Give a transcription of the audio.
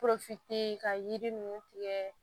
ka yiri ninnu tigɛ